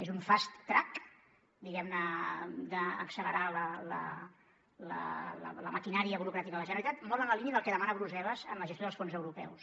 és un fast trackguem ne d’accelerar la maquinària burocràtica de la generalitat molt en la línia del que demana brussel·les amb la gestió dels fons europeus